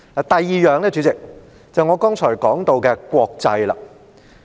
第二，主席，是我剛才提到的"國際"。